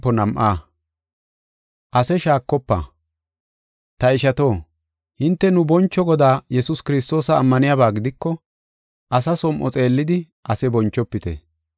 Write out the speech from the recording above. Ta ishato, hinte nu boncho Godaa Yesuus Kiristoosa ammaniyaba gidiko, asa som7o xeellidi ase bonchofite.